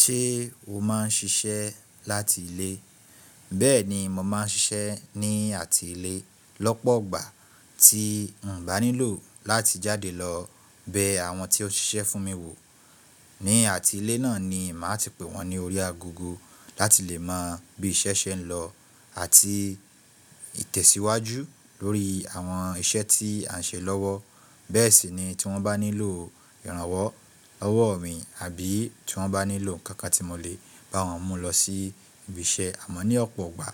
Ṣé o máa ń ṣiṣẹ́ láti ilé? Bẹ́ẹ̀ ni, mo máa ń ṣiṣẹ́ ní àti ilé lọ́pọ̀ igbà tí ǹ bá nílò láti jáde lọ bẹ àwọn tí ó ń ṣiṣẹ́ fún mi wò. Ní àti ilé náà ni màá ti pe wọ́n ní orí agogo láti lè mọ bí iṣẹ́ ṣe ń lọ àti ìtẹ̀síwájú lórí àwọn iṣẹ́ tí à ń ṣe lọ́wọ́. Bẹ́ẹ̀ sì ni tí wọ́n bá nílò ìrànwọ́ ọwọ́ mi àbí tí wọ́n bá nílò nkankan tí mo lè bá wọn mú lọ sí ibi iṣẹ́. Àmọ́ ní ọ̀pọ̀ ọgbà